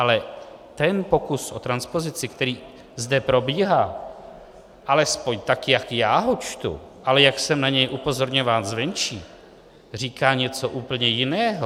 Ale ten pokus o transpozici, který zde probíhá, alespoň tak jak já ho čtu, ale jak jsem na něj upozorňován zvenčí, říká něco úplně jiného.